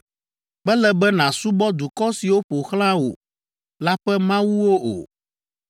Mele be nàsubɔ dukɔ siwo ƒo xlã wò la ƒe mawuwo o,